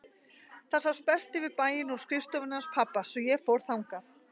Það sást best yfir bæinn úr skrifstofunni hans pabba svo ég fór þangað.